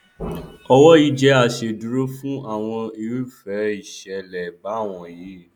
owó yìí jẹ aṣèdúró fún àwọn irúfẹ ìṣẹlẹ báwọnyí